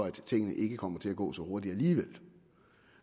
at tingene ikke kommer til at gå så hurtigt alligevel